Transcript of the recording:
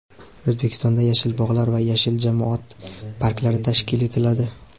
O‘zbekistonda "Yashil bog‘lar" va "Yashil jamoat parklari" tashkil etiladi.